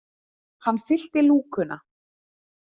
Hann fyllti lúkuna.